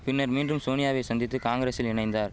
பின்னர் மீண்டும் சோனியாவை சந்தித்து காங்கிரசில் இணைந்தார்